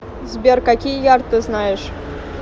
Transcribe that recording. сбер какие ярд ты знаешь